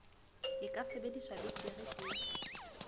e ka sebediwang betere ka